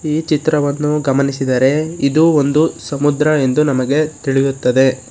ಈ ಚಿತ್ರವನ್ನು ಗಮನಿಸಿದರೆ ಇದು ಒಂದು ಸಮುದ್ರ ಎಂದು ನಮಗೆ ತಿಳಿಯುತ್ತದೆ.